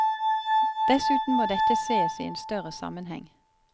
Dessuten må dette sees i en større sammenheng.